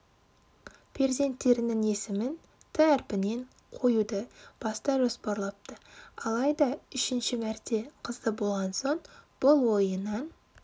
перзенттерінің есімін әрпінен қоюды баста жоспарлапты алайда үшінші мәрте қызды болған соң бұл ойынан